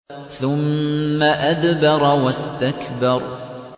ثُمَّ أَدْبَرَ وَاسْتَكْبَرَ